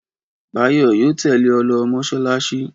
Báyọ̀ yóò tẹ́lẹ̀ ọ lọ mọ́ṣáláṣí.